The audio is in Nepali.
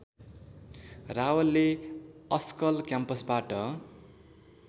रावलले अस्कल क्याम्पसबाट